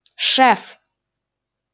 шеф